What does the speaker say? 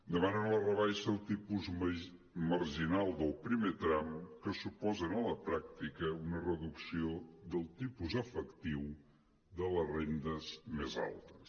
demanen la rebaixa del tipus marginal del primer tram que suposa en la pràctica una reducció del tipus efectiu de les rendes més altes